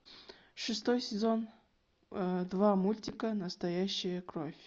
шестой сезон два мультика настоящая кровь